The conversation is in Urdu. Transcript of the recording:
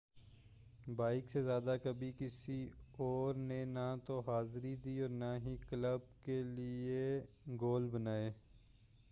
بابیک سے زیادہ کبھی کسی اور نے نہ تو حاضری دی اور نہ ہی کلب کے لئے گول بنائے